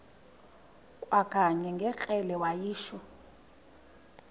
kwakanye ngekrele wayishu